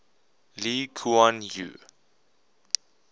lee kuan yew